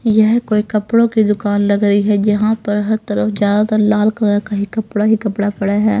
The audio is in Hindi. यह कोई कपड़ों की दुकान लग रही है जहां पर हर तरफ ज्यादातर लाल कलर का ही कपड़ा ही कपड़ा पड़ा है.